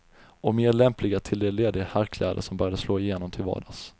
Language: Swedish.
Och mer lämpliga till de lediga herrkläder som började slå igenom till vardags.